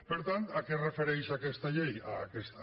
per tant a què es refereix aquesta llei a aquesta